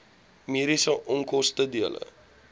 mediese onkoste dele